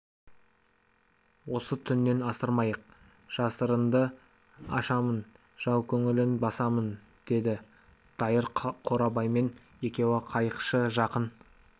осы түннен асырмайық жасырынды ашамын жау көңілін басамын деді дайыр қорабаймен екеуі қайықшы жақын